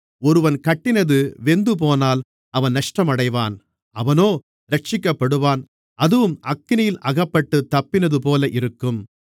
ஒருவன் கட்டினது வெந்துபோனால் அவன் நஷ்டமடைவான் அவனோ இரட்சிக்கப்படுவான் அதுவும் அக்கினியில் அகப்பட்டுத் தப்பினதுபோல இருக்கும்